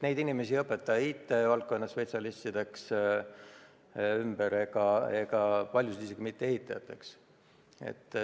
Neid inimesi ei õpeta ümber IT-valdkonna spetsialistideks, paljusid isegi mitte ehitajateks.